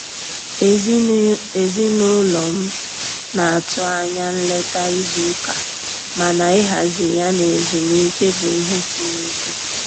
Ezinụlọ m na-atụ anya nleta izu ụka, mana ịhazi ya na ezumike bụ ihe siri ike.